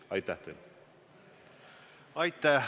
Aitäh!